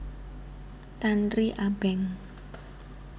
Tanri Abeng